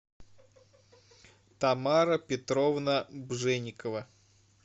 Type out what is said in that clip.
тамара петровна бженикова